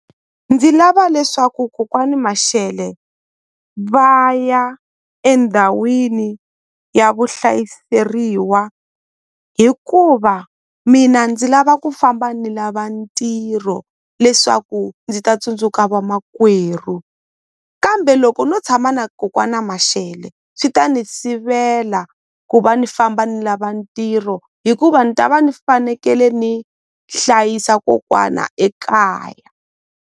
Ndzi lava leswaku kokwani Mashele va ya endhawini ya vu hlayiseriwa hikuva mina ndzi lava ku famba ni lava ntirho leswaku ndzi ta tsundzuka vamakwerhu kambe loko no tshama na kokwani Mashele swi ta ni sivela ku va ni famba ni lava ntirho hikuva ni ta va ni fanekele ni hlayisa kokwana ekaya.